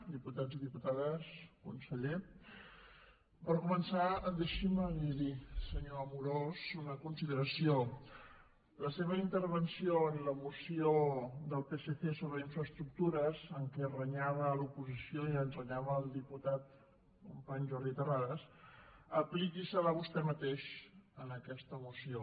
diputats i diputades conseller per començar deixi’m li dir senyor amorós una consideració la seva intervenció en la moció del psc sobre infraestructures en què renyava l’oposició i ens renyava al diputat company jordi terrades apliqui se la vostè mateix en aquesta moció